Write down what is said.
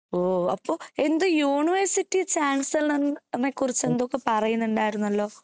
ഓ അപ്പൊ എന്തോ യൂണിവേഴ്സിറ്റി ചാൻസിലറിനെ കുറിച്ച് എന്തൊക്കെയോ പറയുന്നുണ്ടാരുന്നല്ലോ